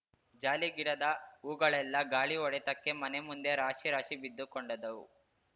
ಜಾಲಿಗಿಡದ ಹೂಗಳೆಲ್ಲಾ ಗಾಳಿ ಹೊಡೆತಕ್ಕೆ ಮನೆ ಮುಂದೆ ರಾಶಿ ರಾಶಿ ಬಿದ್ದುಕೊಂಡದ್ದವು